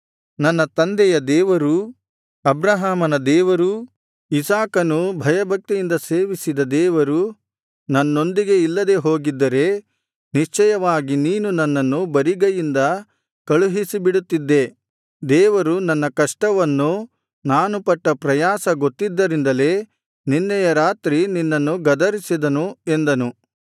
ನನ್ನ ತಂದೆಯಾದ ದೇವರೂ ಅಬ್ರಹಾಮನ ದೇವರೂ ಇಸಾಕನು ಭಯಭಕ್ತಿಯಿಂದ ಸೇವಿಸಿದ ದೇವರು ನನ್ನೊಂದಿಗೆ ಇಲ್ಲದೆ ಹೋಗಿದ್ದರೆ ನಿಶ್ಚಯವಾಗಿ ನೀನು ನನ್ನನ್ನು ಬರಿಗೈಯಿಂದ ಕಳುಹಿಸಿಬಿಡುತ್ತಿದ್ದೆ ದೇವರು ನನ್ನ ಕಷ್ಟವನ್ನೂ ನಾನು ಪಟ್ಟ ಪ್ರಯಾಸ ಗೊತ್ತಿದ್ದರಿಂದಲೇ ನಿನ್ನೆಯ ರಾತ್ರಿ ನಿನ್ನನ್ನು ಗದರಿಸಿದನು ಎಂದನು